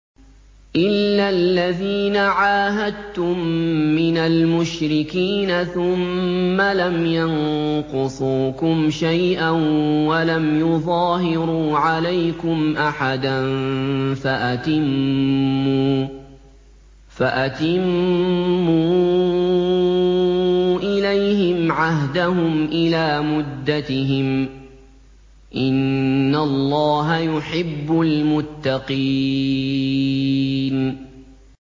إِلَّا الَّذِينَ عَاهَدتُّم مِّنَ الْمُشْرِكِينَ ثُمَّ لَمْ يَنقُصُوكُمْ شَيْئًا وَلَمْ يُظَاهِرُوا عَلَيْكُمْ أَحَدًا فَأَتِمُّوا إِلَيْهِمْ عَهْدَهُمْ إِلَىٰ مُدَّتِهِمْ ۚ إِنَّ اللَّهَ يُحِبُّ الْمُتَّقِينَ